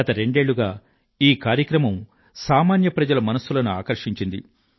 గత రెండేళ్ళుగా ఈ కార్యక్రమం సామాన్య ప్రజల మనస్సులను ఆకర్షించింది